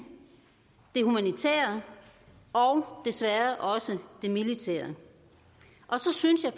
det humanitære og desværre også det militære og så synes jeg